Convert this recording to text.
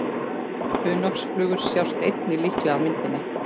Hunangsflugur sjást einnig líklega á myndinni.